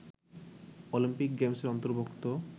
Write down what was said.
Olympic গেমসের অন্তর্ভুক্ত